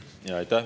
Aitäh!